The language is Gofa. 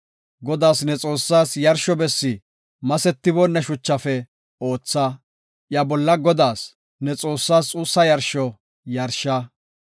Godaas, ne Xoossaas yarsho bessi masetiboonna shuchafe ootha; iya bolla Godaas, ne Xoossaas xuussa yarsho yarsha.